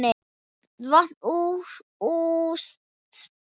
Vont útspil.